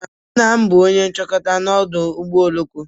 Nna m bụ onye nchekwa n'ọdụ ụgbọ oloko.